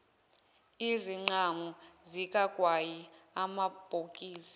izinqamu zikagwayi amabhokisi